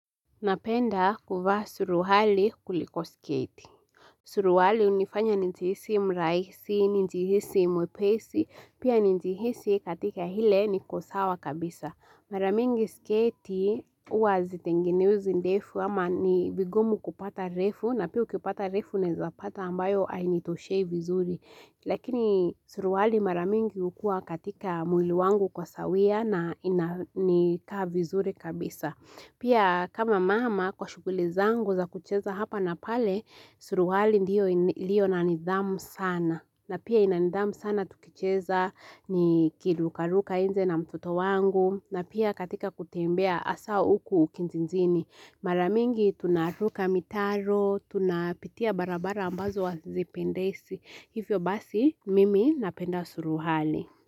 Napenda kuvaa suruali kuliko sketi. Suruali hunifanya nijihisi mraisi, nijihisi mwepesi, pia nijihisi katika ile ni kwa sawa kabisa. Maramingi sketi huwa hazitengenezwi ndefu ama ni vigumu kupata refu na pia ukipata refu ne zapata ambayo ainitoshei vizuri. Lakini suruali maramingi ukua katika mwili wangu kwa sawia na ina nika vizuri kabisa. Pia kama mama kwa shughuli zangu za kucheza hapa na pale, suruali ndiyo ilio na nidhamu sana. Na pia ina nidhamu sana tukucheza ni kirurukaka inje na mtoto wangu. Na pia katika kutembea hasaa huku kijijini. Maramingi tunaruka mitaro, tunapitia barabara ambazo wa zipendesi. Hivyo basi, mimi napenda suruali.